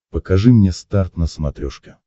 покажи мне старт на смотрешке